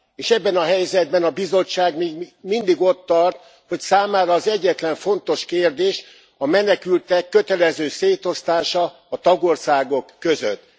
És ebben a helyzetben a Bizottság még mindig ott tart, hogy számára az egyetlen fontos kérdés a menekültek kötelező szétosztása a tagországok között.